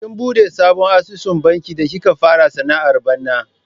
Kin buɗe sabon asusun banki da kika fara sana'ar bana?